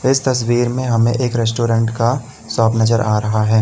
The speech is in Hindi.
इस तस्वीर में हमें एक रेस्टोरेंट का शॉप नजर आ रहा है।